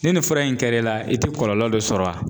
Ni nin fura in kɛra la i tɛ kɔlɔlɔ dɔ sɔrɔ wa.